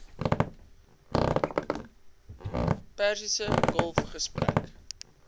persiese golf gesprek